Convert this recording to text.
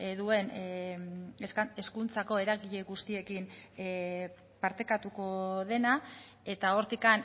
duen hezkuntzako eragile guztiekin partekatuko dena eta hortik